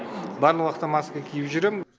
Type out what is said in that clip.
барлық уақытта маска киіп жүремін